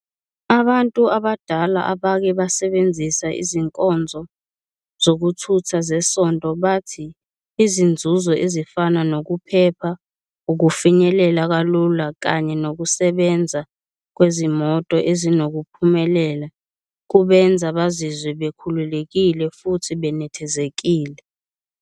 Abantu abadala abake basebenzisa izinkonzo zokuthutha zesonto bathi izinzuzo ezifana nokuphepha, ukufinyelela kalula kanye nokusebenza kwezimoto ezinokuphumelela, kubenza bazizwe bekhululekile futhi benethezekile.